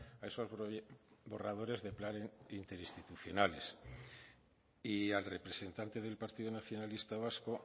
a esos borradores de planes interinstitucionales y al representante del partido nacionalista vasco